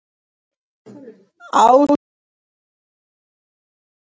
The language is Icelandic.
Áslákur, spilaðu lag.